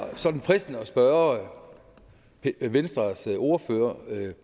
fristende at spørge venstres ordfører hvad det